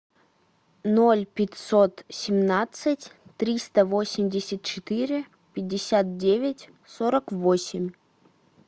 ноль пятьсот семнадцать триста восемьдесят четыре пятьдесят девять сорок восемь